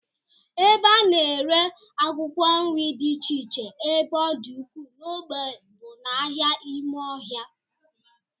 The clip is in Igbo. Ebe a na-ere akwụkwọ nri dị iche iche ebe ọ dị ukwuu n'ogbe bụ n'ahịa ime ọhịa